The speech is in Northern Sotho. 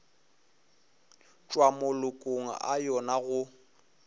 tšwa malokong a yona go